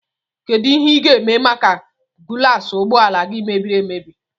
Kedụ ihe i ga -eme maka gulas ụgbọala gị mebiri emebi?